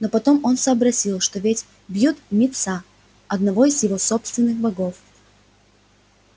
но потом он сообразил что ведь бьют мит са одного из его собственных богов